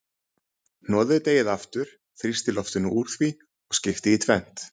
Hnoðið deigið aftur, þrýstið loftinu úr því og skiptið í tvennt.